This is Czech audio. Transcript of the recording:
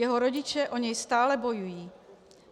Jeho rodiče o něj stále bojují.